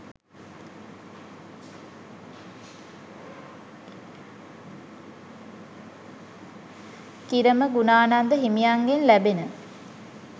කිරම ගුණානන්ද හිමියන්ගෙන් ලැබෙන